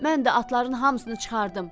Mən də atların hamısını çıxardım.